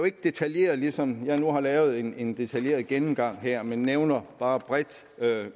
ikke detaljeret ligesom jeg nu har lavet en en detaljeret gennemgang her man nævner bare bredt